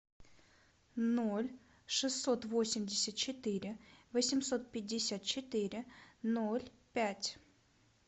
ноль шестьсот восемьдесят четыре восемьсот пятьдесят четыре ноль пять